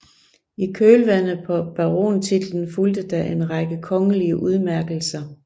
I kølvandet på barontitlen fulgte da en række kongelige udmærkselser